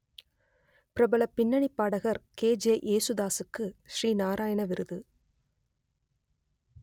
பிரபல பின்னணிப் பாடகர் கே ஜே யேசுதாசுக்கு ஸ்ரீ நாராயண விருது